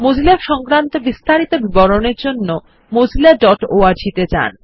Mozilla সংক্রান্ত বিস্তারিত বিবরণের জন্য mozillaঅর্গ ত়ে যান